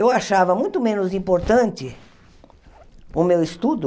Eu achava muito menos importante o meu estudo